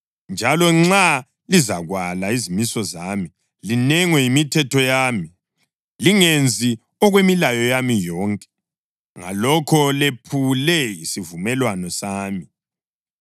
njalo nxa lizakwala izimiso zami, linengwe yimithetho yami, lingenzi okwemilayo yami yonke, ngalokho lephule isivumelwano sami,